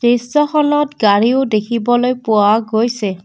দৃশ্যখনত গাড়ীও দেখিবলৈ পোৱা গৈছে।